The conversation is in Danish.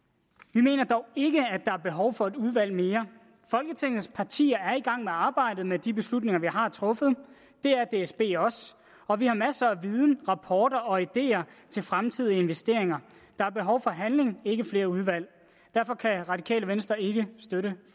vi mener dog ikke at er behov for et udvalg mere folketingets partier er i gang med arbejdet med de beslutninger vi har truffet det er dsb også og vi har masser af viden rapporter og ideer til fremtidige investeringer der er behov for handling ikke flere udvalg og derfor kan radikale venstre ikke støtte